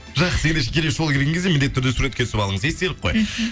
жақсы ендеше келесі жолы келген кезде міндетті түрде суретке түсіп алыңыз естелік қой